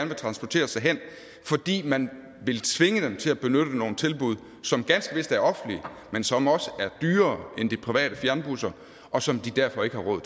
vil transportere sig hen fordi man vil tvinge dem til at benytte nogle tilbud som ganske vist er offentlige men som også er dyrere end de private fjernbusser og som de derfor ikke har råd